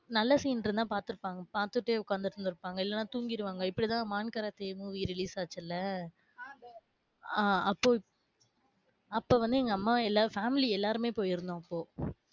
நல்ல scene இருந்தா பாத்துருப்பாங்க பாத்துடே உக்காந்துட்டு இருந்துருப்பாங்க, இல்லைனா தூங்கிருவாங்க. இப்படித்தான் மான் காராதே movie release அச்சுல ஆஹ் அப்போ அப்ப வந்து எங்க அம்மா எல்லாரும் family எல்லாருமே போயிருந்தோம் அப்போ,